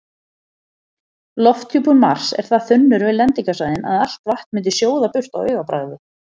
Lofthjúpur Mars er það þunnur við lendingarsvæðin að allt vatn myndi sjóða burt á augabragði.